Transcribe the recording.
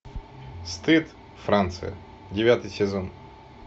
стыд франция девятый сезон